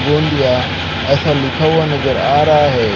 गोंदिया ऐसा लिखा हुआ नज़र आ रहा है।